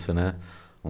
né, um